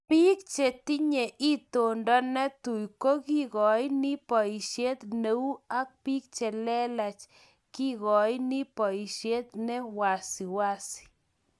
Piik che tinye itondo ne tui ko kekoini boishet ne ui ak piik chelelach kekoini boishet ne wesisi